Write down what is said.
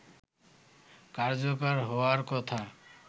কার্যকর হওয়ার কথা